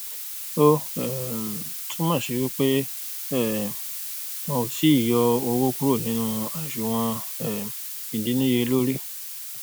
o um tun mo si pe um won o ti i yo owo kuro ninu asunwon um idinniyelori